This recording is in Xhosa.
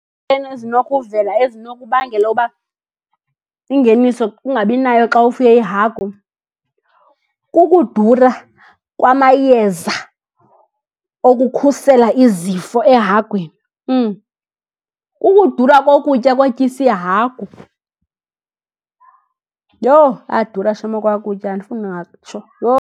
Ezinokuvela ezinokubangela uba ingeniso ungabinayo xa ufuye ihagu, kukudura kwamayeza okukhusela izifo ehagwini, kukudura kokutya kotyisa ihagu. Yho, ayadura shem okwaa kutya andifuni ungatsho, yho.